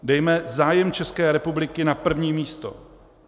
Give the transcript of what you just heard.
Dejme zájem České republiky na první místo.